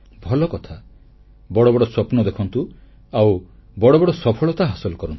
ଭଲକଥା ବଡ଼ ବଡ଼ ସ୍ୱପ୍ନ ଦେଖନ୍ତୁ ଆଉ ବଡ଼ ବଡ଼ ସଫଳତା ହାସଲ କରନ୍ତୁ